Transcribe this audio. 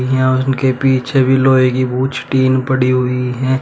यहाँ उनके पीछे भी लोहे की ऊंच टीन पड़ी हुई है।